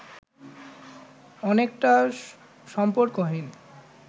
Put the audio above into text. অনেকটা সম্পর্কহীন